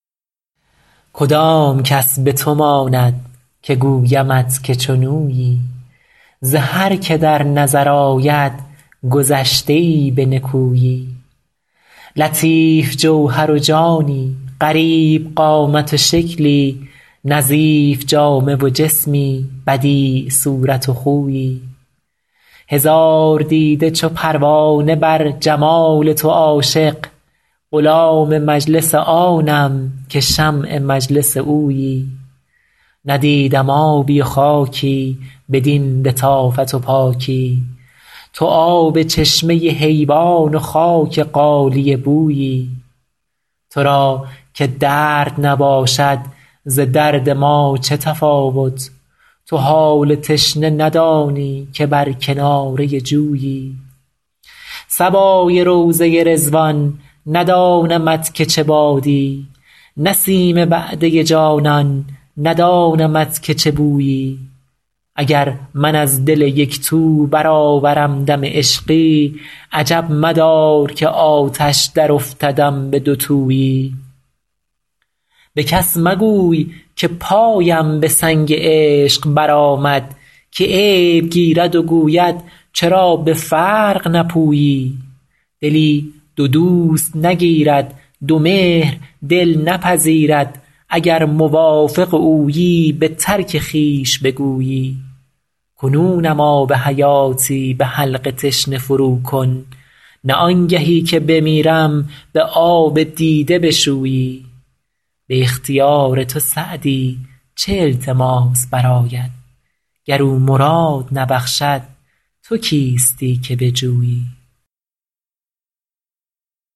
کدام کس به تو ماند که گویمت که چون اویی ز هر که در نظر آید گذشته ای به نکویی لطیف جوهر و جانی غریب قامت و شکلی نظیف جامه و جسمی بدیع صورت و خویی هزار دیده چو پروانه بر جمال تو عاشق غلام مجلس آنم که شمع مجلس اویی ندیدم آبی و خاکی بدین لطافت و پاکی تو آب چشمه حیوان و خاک غالیه بویی تو را که درد نباشد ز درد ما چه تفاوت تو حال تشنه ندانی که بر کناره جویی صبای روضه رضوان ندانمت که چه بادی نسیم وعده جانان ندانمت که چه بویی اگر من از دل یک تو برآورم دم عشقی عجب مدار که آتش درافتدم به دوتویی به کس مگوی که پایم به سنگ عشق برآمد که عیب گیرد و گوید چرا به فرق نپویی دلی دو دوست نگیرد دو مهر دل نپذیرد اگر موافق اویی به ترک خویش بگویی کنونم آب حیاتی به حلق تشنه فروکن نه آنگهی که بمیرم به آب دیده بشویی به اختیار تو سعدی چه التماس برآید گر او مراد نبخشد تو کیستی که بجویی